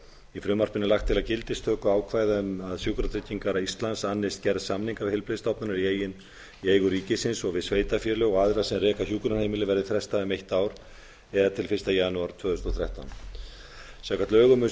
í frumvarpinu er lagt til að gildistökuákvæði um að sjúkratryggingar íslands annist gerð samninga við heilbrigðisstofnanir í eigu ríkisins og við sveitarfélög og aðra sem reka hjúkrunarheimili verði frestað um eitt ár eða til fyrsta janúar tvö þúsund og þrettán samkvæmt lögum um